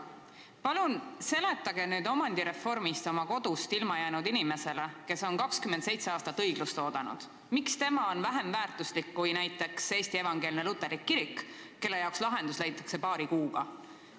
Palun seletage omandireformi tõttu oma kodust ilma jäänud inimesele, kes on 27 aastat õiglust oodanud, miks tema on vähem väärtuslik kui näiteks Eesti Evangeelne Luterlik Kirik, kelle jaoks lahendus leitakse paari kuuga!